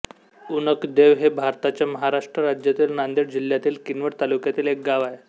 उणकदेव हे भारताच्या महाराष्ट्र राज्यातील नांदेड जिल्ह्यातील किनवट तालुक्यातील एक गाव आहे